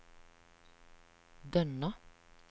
Dønna